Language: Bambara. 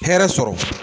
Hɛrɛ sɔrɔ